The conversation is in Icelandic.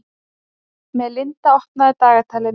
Melinda, opnaðu dagatalið mitt.